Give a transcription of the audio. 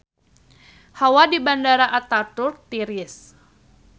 Hawa di Bandara Ataturk tiris